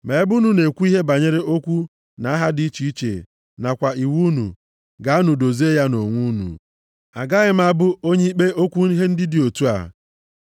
Ma ebe unu na-ekwu ihe banyere okwu na aha dị iche iche nakwa iwu unu, gaanụ dozie ya nʼonwe unu. Agaghị m abụ onye ikpe okwu ihe ndị dị otu a.”